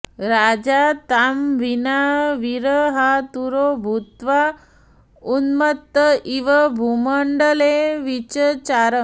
राजा तां विना विरहातुरो भूत्वा उन्मत्त इव भूमण्डले विचचार